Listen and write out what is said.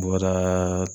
Bɔrada